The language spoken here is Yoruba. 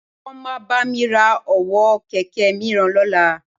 Wọ́n máa bá mi ra ọwọ́ kẹ̀kẹ́ mìíràn lọ́la